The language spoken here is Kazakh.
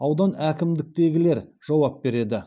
аудан әкімдіктегілер жауап береді